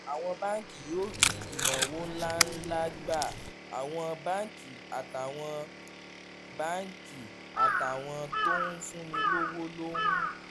àwọn báńkì yóò rí ìnáwó ńláǹlà gbà: àwọn báńkì àtàwọn àwọn báńkì àtàwọn tó ń fúnni lówó ló ń